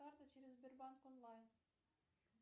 карта через сбербанк онлайн